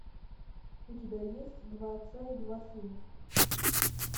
у тебя есть два отца и два сына